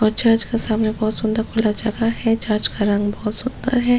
और चर्च के सामने बहुत सुंदर खुला जगह हैं जहां इसका रंग बहुत सुंदर हैं।